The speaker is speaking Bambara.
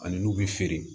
Ani n'u bɛ feere